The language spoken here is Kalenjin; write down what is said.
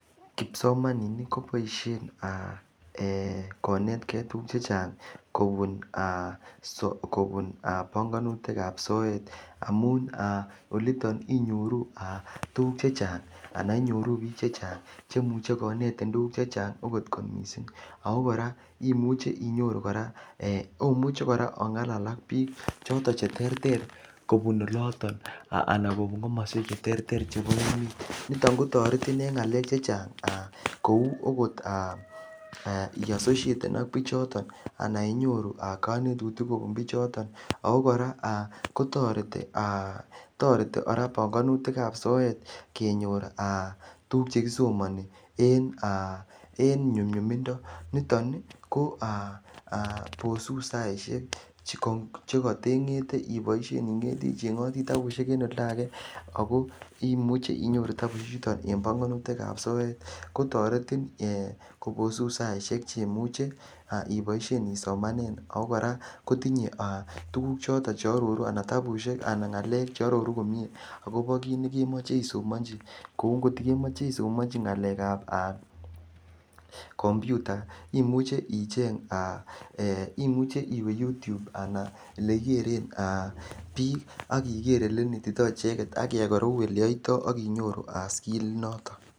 Kipsomaninik koboisien ee konetke tuguk che chang kobun aa panganganutik ab soet amun olito inyoru tugukche chang ananbiik che chang che muchi konetin tuguk che chang okot kot mising ago kora imuche inyoru kora, omuche kora ongalal ak biik choton che terter kobun oloto ana kobun komoswek cheterter. Niton ko toretin en ngalek che chang kou agot i asosieten ak biichoton ana inyoru kanetutik kubun biichoton. Kora ko toreti banganutikab soet kenyor aa tuguk che kisomani en nyumnyumindo. Niton ko, bosun saisiek che katengete iboisien ichengoti tabusiek en olda age ago imuchi inyoru tabusiechuto en banganutikab soet. Kotoretin ee kobosun saisiek che moche iboisien ii somanen ago kora kotinye, tuguchoto che aroru ana tabusiek ana, ngakek che aroru komie agobo kit ne kemoche isomonchi. Kou ngotiko kemoche isomanchi ngalekab kompiuta imuche iwe youtube ana elekikeren biik ak iger elenetito icheget ak iyai korok oleyoito ak inyoru aa siri inoto.